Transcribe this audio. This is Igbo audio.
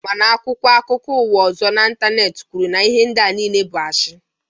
Mana akwụkwọ akụkọ ụwa ọzọ n'Ịntaneeti kwuru na ihe ndịa nile bụ ashi